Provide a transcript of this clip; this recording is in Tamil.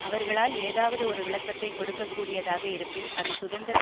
அவர்களால் ஏதாவது ஒரு விளக்கத்தை கொடுக்ககூடியதாக இருப்பின் அது சுதந்திர